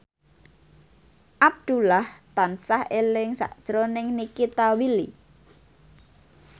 Abdullah tansah eling sakjroning Nikita Willy